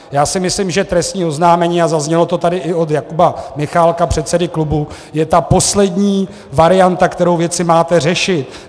Já si myslím, že trestní oznámení, a zaznělo to tady i od Jakuba Michálka, předsedy klubu, je ta poslední varianta, kterou věci máte řešit.